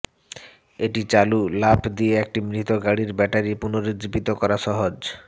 এটি চালু লাফ দিয়ে একটি মৃত গাড়ির ব্যাটারি পুনরুজ্জীবিত করা সহজ